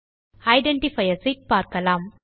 identifiers ஐ பார்க்கலாம்